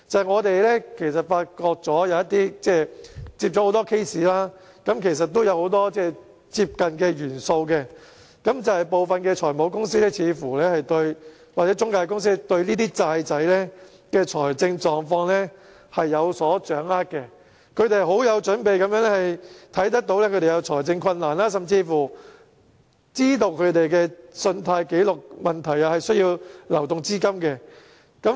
我們接到很多個案，發現有很多類近的元素，就是部分財務公司或中介公司似乎對欠債人的財政狀況有所掌握，他們很有準備地看到他們有財政困難，甚至知道他們的信貸紀錄問題，且需要流動資金。